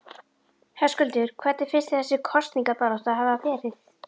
Höskuldur: Hvernig finnst þér þessi kosningabarátta hafa verið?